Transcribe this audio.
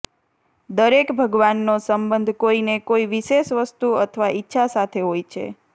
દરેક ભગવાનનો સંબંધ કોઈને કોઈ વિશેષ વસ્તુ અથવા ઈચ્છા સાથે હોય છે